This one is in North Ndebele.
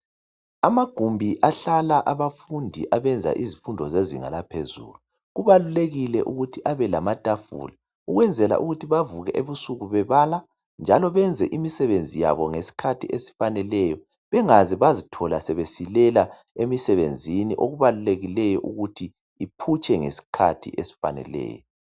Amagumbi ahlala abafundi abenza izifundo zezinga laphezulu kubalulekile ukuthi abe lamatafula ukwenzela ukuthi bavuke ebusuku bebala njalo benze imisebenzi yabo ngesikhathi esifaneleyo bengaze bazi thola sebesilela emsebenzini okubalulekileyo ukuthi iphutshe ngesikhathi esifaneleyo.